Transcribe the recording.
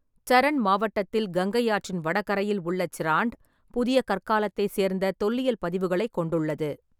சரண் மாவட்டத்தில் கங்கை ஆற்றின் வடகரையில் உள்ள சிராண்ட், புதிய கற்காலத்தைச் சேர்ந்த தொல்லியல் பதிவுகளைக் கொண்டுள்ளது.